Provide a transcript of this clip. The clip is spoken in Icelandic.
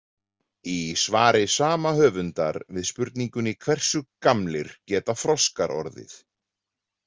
Í svari sama höfundar við spurningunni Hversu gamlir geta froskar orðið?